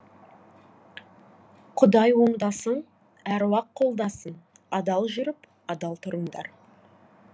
құдай оңдасын әруақ қолдасын адал жүріп адал тұрыңдар